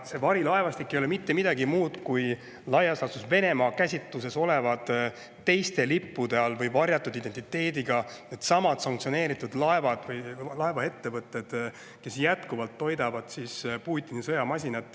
Ja see varilaevastik ei ole mitte midagi muud kui Venemaa olevad teiste lippude all või varjatud identiteediga sanktsioneeritud laevad, laevaettevõtted, kes jätkuvalt toidavad Putini sõjamasinat.